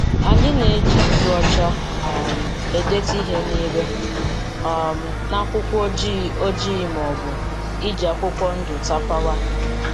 Anyị na-eji nzu ọcha um edetu ihe n'ile um n'akwụkwọ ojii ojii ma ọbụ iji akwụkwọ ndụ tapawa.